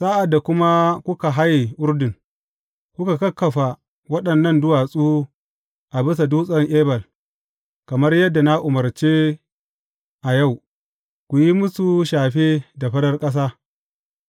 Sa’ad da kuma kuka haye Urdun, ku kakkafa waɗannan duwatsu a bisa Dutsen Ebal, kamar yadda na umarce a yau, ku yi musu shafe da farar ƙasa.